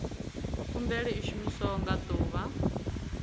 khumbelo i shumiwa nga ḓuvha